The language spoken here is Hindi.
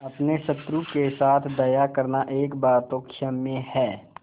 अपने शत्रु के साथ दया करना एक बार तो क्षम्य है